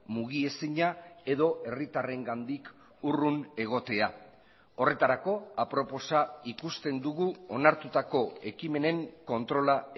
mugiezina edo herritarrengandik urrun egotea horretarako aproposa ikusten dugu onartutako ekimenen kontrola